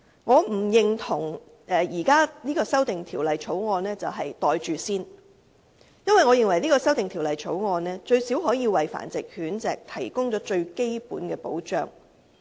我不認同現時的《修訂規例》是"袋住先"，因為它最低限度可以為繁殖狗隻提供最基本的保障。